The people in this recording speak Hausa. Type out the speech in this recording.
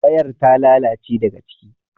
wayar ta lalace daga ciki